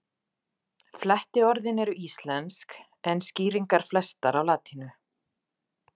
Flettiorðin eru íslensk en skýringar flestar á latínu.